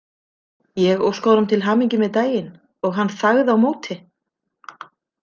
Ég óskaði honum til hamingju með daginn og hann þagði á móti.